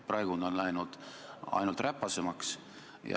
Praegu on see läinud ainult räpasemaks.